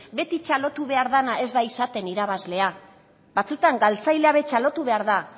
beti txalotu behar dana ez da izaten irabazlea batzutan galtzailea be txalotu behar da